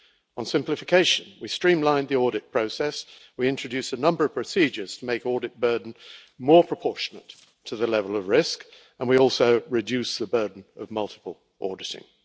On simplification, we streamlined the audit process, we introduced a number of procedures to make the audit burden more proportionate to the level of risk, and we also reduced the burden of multiple auditing.